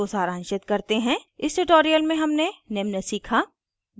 इसको सारांशित करते हैं इस tutorial में हमने निम्न सीखा